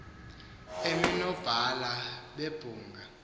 emi nonobhala bebhunga